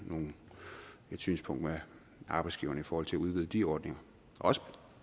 synspunkt med arbejdsgiverne i forhold til at udvide de ordninger og også